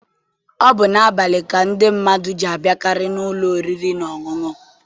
Ọ bụ n'abalị ka ndị mmadụ ji abịakarị n'ụlọ oriri na ọṅụṅụ.